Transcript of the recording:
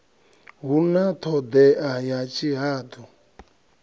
hu na thodea ya tshihadu